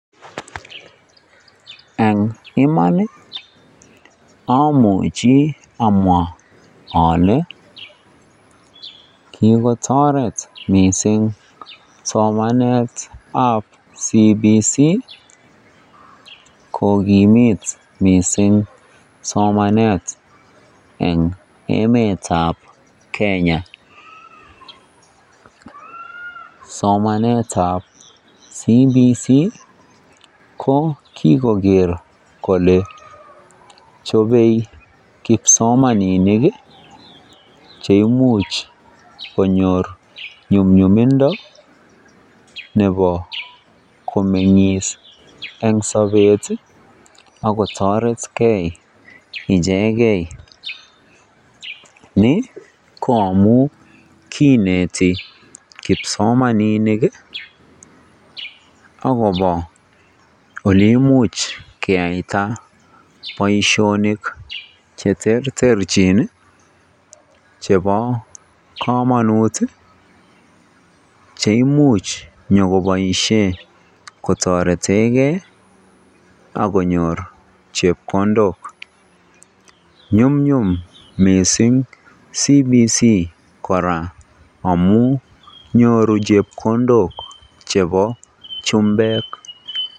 Eng' iman amuji amwa ale kogotoret mising' somanet ab CBC kogimit mising' somanet eng' emet ab Kenya somanet ab CBC ko kigoker kole chopey kipsomaninik cheimuch konyor nyumnyumindo nepo komeng'is eng' sopet akotoretgei ichegei ni ko amun kiineti kipsomaninik agobo oleimuch keyaita boisionik cheterterchin chepo komanut cheimuch nyikopaishe kotoretegei akonyor chepkondok nyumnyum mising' CBC koraa amun nyoru chepkondok chepo chumbek.